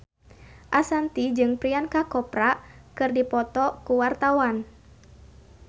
Ashanti jeung Priyanka Chopra keur dipoto ku wartawan